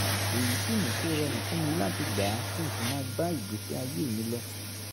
èyí sì mú kó rọrùn fún mi láti gbà á kí n sì máa bá ìgbésí ayé mi lọ